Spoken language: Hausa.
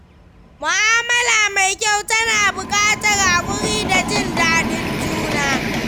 Mu'amala mai kyau tana buƙatar haƙuri da jin daɗin juna.